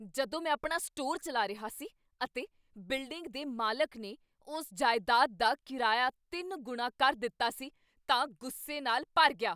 ਜਦੋਂ ਮੈਂ ਆਪਣਾ ਸਟੋਰ ਚਲਾ ਰਿਹਾ ਸੀ ਅਤੇ ਬਿਲਡਿੰਗ ਦੇ ਮਾਲਕ ਨੇ ਉਸ ਜਾਇਦਾਦ ਦਾ ਕਿਰਾਇਆ ਤਿੰਨ ਗੁਣਾ ਕਰ ਦਿੱਤਾ ਸੀ ਤਾਂ ਗੁੱਸੇ ਨਾਲ ਭਰ ਗਿਆ